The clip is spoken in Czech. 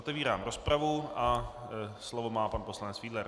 Otevírám rozpravu a slovo má pan poslanec Fiedler.